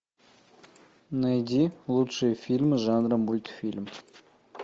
найди лучшие фильмы жанра мультфильм